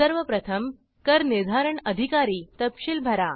सर्व प्रथम करनिर्धारण अधिकारी तपशील भरा